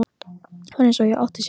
Það var eins og það átti að sér.